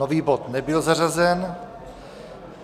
Nový bod nebyl zařazen.